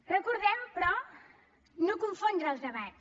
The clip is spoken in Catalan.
recordem però no confondre els debats